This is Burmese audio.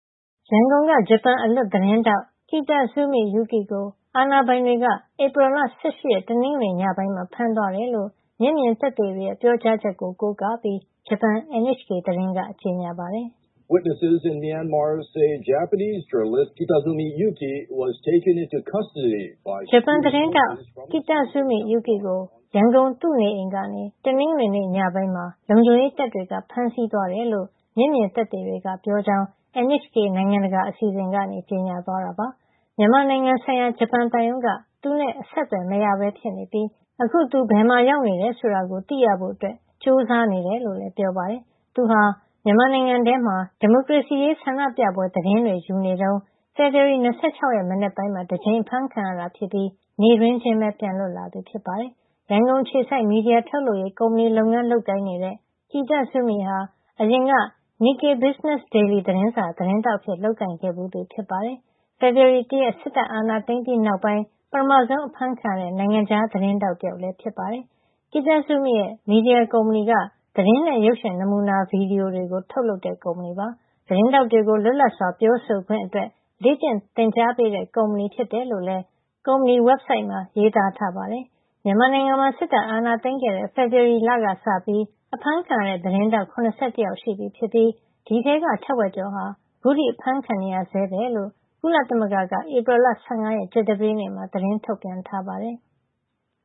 ရန်ကုန်က ဂျပန် အလွတ်သတင်းထောက် Kitazumi Yuki ကို အာဏာပိုင်တွေက ဧပြီလ ၁၈ ရက် တနင်္ဂနွေ ညပိုင်းမှာ ဖမ်းသွားတယ်လို့ မျက်မြင်သက်သေတွေရဲ့ ပြောကြားချက်ကို ကိုးကားပြီး ဂျပန် NHK သတင်းက ကြေညာပါတယ်။ ဂျပန်သတင်းထောက် Kitazumi Yuki ကို ရန်ကုန် သူ့နေအိမ်ကနေ တနင်္ဂနွေနေ့ညပိုင်းမှာ လုံခြုံရေးတပ်တွေ ဖမ်းဆီးသွားတယ်လို့ မျက်မြင်သက်သေတွေက ပြောကြောင်း NHK နိုင်ငံတကာအစီအစဉ်ကနေ ကြေညာ သွားတာပါ။ မြန်မာနိုင်ငံဆိုင်ရာ ဂျပန်သံရုံးက သူနဲ့ အဆက်အသွယ်မရပဲ ဖြစ်နေပြီး အခုသူ ဘယ်မှာ ရောက်နေတယ် ဆိုတာကို သိရဖို့ ကြိုးစားနေတယ်လို့လည်း ပြောပါတယ်။ သူဟာ မြန်မာနိုင်ငံထဲမှာ ဒီမိုကရေစီရေး ဆန္ဒပြပွဲသတင်းတွေ ယူနေတုန်း ဖေဖေါ်ဝါရီ ၂၆ ရက် မနက်ပိုင်းမှာ တကြိမ် အဖမ်းခံခဲ့ရတာ ဖြစ်ပြီး နေ့တွင်းချင်းပဲ ပြန်လွတ်လာသူ ဖြစ်ပါတယ်။ ရန်ကုန်အခြေစိုက် မီဒီယာ ထုတ်လုပ်ရေး ကုမ္ပဏီလုပ်ငန်းလုပ်ကိုင်တဲ့ Yuki Kitazumi ဟာ အရင်က Nikkei business daily သတင်းစာ သတင်းထောက်အဖြစ် လုပ်ကိုင်ခဲ့ဖူးသူ ဖြစ်ပါတယ်။ သူက ဖေဖော်ဝါရီလ ၁ ရက်နေ့ စစ်တပ်က အာဏာသိမ်းပြီးနောက်ပိုင်း ပထမဆုံး အဖမ်းခံလိုက်ရတဲ့ နိုင်ငံခြား သတင်းထောက် တယောက်ဖြစ်လာပါတယ်။ Kitazumi ရဲ့ မီဒီယာကုမ္ပဏီက သတင်းနဲ့ ရုပ်ရှင် နမူနာ ဗွီဒီယိုတွေကို ထုတ်လုပ်တဲ့ ကုမ္ပဏီ ဖြစ်ပါတယ်။ သတင်းထောက်တွေကို လွတ်လပ်စွာပြောဆိုခွင့်အတွက် လေ့ကျင့်သင်ကြားပေးတဲ့ ကုမ္ပဏီဖြစ်တယ်လို့လည်း ကုမ္ပဏီ website မှာ ရေးသားထားပါတယ်။ မြန်မာနိုင်ငံမှာ စစ်တပ်အာဏာသိမ်းခဲ့တဲ့ ဖေဖေါ်ဝါရီလကစပြီး အဖမ်းခံရတဲ့ သတင်းထောက် ၇၁ ယောက် ရှိပြီဖြစ်ပြီး ဒီအထဲက ထက်ဝက်ကျော်ဟာ ခုထိ အဖမ်းခံနေရဆဲပဲလို့ ကုလသမဂ္ဂက ဧပြီလ ၁၅ ရက် ကြာသပတေးနေ့မှာ သတင်းထုတ်ပြန်ထားပါတယ်။